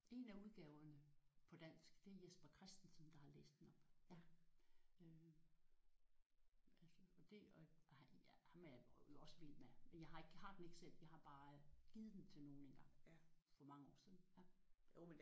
En af udgaverne på dansk det er Jesper Christensen der har læst den op ja øh og altså og det ja ham er jeg også vild med. Men jeg har ikke jeg har den ikke selv. Jeg har bare givet den til nogen engang for mange år siden